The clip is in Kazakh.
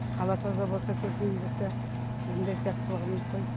қала таза болса көркейіп жатса біздің де жақсылығымыз ғой